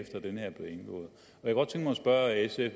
spørge sf